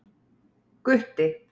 Gutti